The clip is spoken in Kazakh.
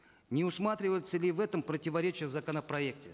не усматривается ли в этом противоречие в законопроекте